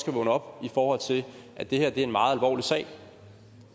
vågne op i forhold til at det her er en meget alvorlig sag